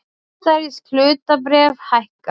Bandarísk hlutabréf hækka